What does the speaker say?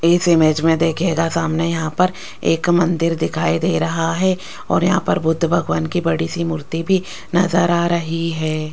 इस इमेज मे देखियेगा सामने यहां पर एक मंदिर दिखाई दे रहा है और यहां पर बुद्ध भगवान की बड़ी सी मूर्ति भी नज़र आ रही है।